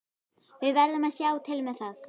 Við verðum að sjá til með það.